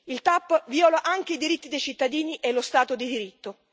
La TAP viola anche i diritti dei cittadini e lo Stato di diritto.